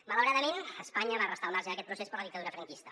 malauradament espanya va restar al marge d’aquest procés per la dictadura franquista